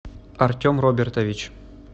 артем робертович